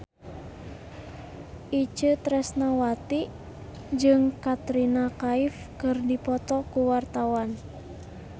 Itje Tresnawati jeung Katrina Kaif keur dipoto ku wartawan